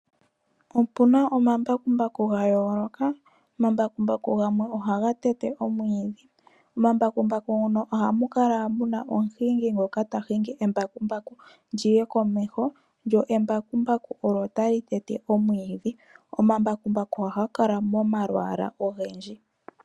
Opuna omambakumbaku gayooloka omambakumbaku gamwe ohaga tete omwiidhi, omambakumbaku ngono ohamu kala muna omuhingi ngoka tahingi embakumbaku lyiye komeho, lyo embakumbaku olyo tali tete omwiidhi. Omambakumbaku ohaga kala momalwaala ogendji.